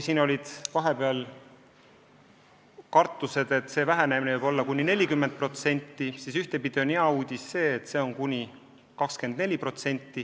Vahepeal olid kartused, et see vähenemine võib olla kuni 40%, nüüd on hea uudis, et see on kuni 24%.